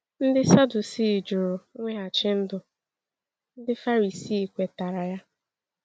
Ndị Sadusii jụrụ mweghachi ndụ; Ndị Farisi kwetara ya.